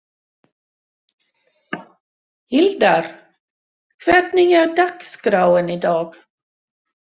Hlíðar, hvernig er dagskráin í dag?